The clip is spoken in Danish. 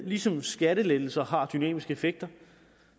ligesom skattelettelser har dynamiske effekter